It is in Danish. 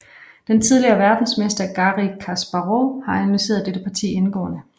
Den tidligere verdensmester Garri Kasparov har analyseret dette parti indgående